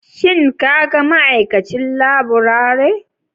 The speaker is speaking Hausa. Shin ka ga ma'aikacin laburare?